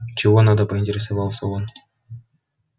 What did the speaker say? чего надо поинтересовался он